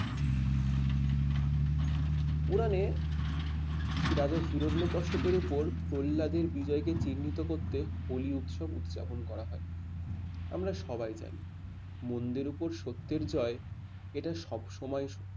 পুরানে রাজা হিরণ্য কশ্যপের ওপর প্রহ্লাদের বিজয়কে চিহ্নিত করতে হোলি উৎসব উদযাপন করা হয়। আমরা সবাই জানি মন্দের উপর সত্যের জয় এটা সবসময় সত্য